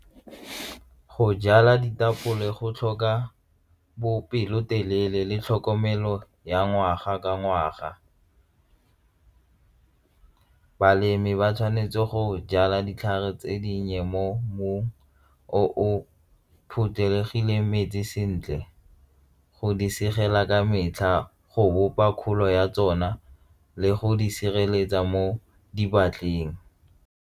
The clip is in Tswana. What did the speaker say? Go jala ditapole go tlhoka bopelotelele le tlhokomelo ya ngwaga ka ngwaga, balemi ba tshwanetse go jala ditlhare tse dinnye mo mmung o phothulogileng metsi sentle go di segela ka metlha go bopa kgolo ya tsona le go di sireletsa mo .